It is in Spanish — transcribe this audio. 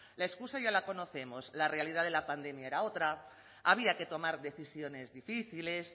la excusa ya la conocemos la realidad de la pandemia era otra había que tomar decisiones difíciles